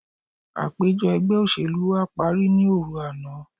Àpèjọ ẹgbẹ́ òṣèlú wa parí ní òru àná.